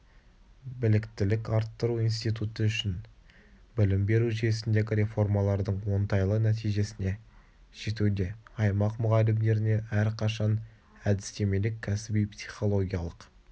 біліктілік арттыру институты үшін білім беру жүйесіндегі реформаладың оңтайлы нәтижесіне жетуде аймақ мұғалімдеріне әрқашан әдістемелік кәсіби психологиялық